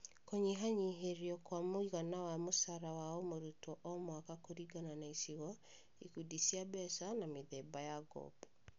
Kũnyihanyihĩrio kwa mũigana wa mũcara wa o mũrutwo o mwaka kũringana na icigo, ikundi cia mbeca, na mĩthemba ya ngombo